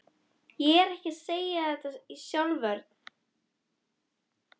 Ég er ekki að segja þetta í sjálfsvörn.